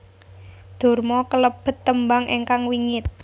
Durma kelebet tembang ingkang wingit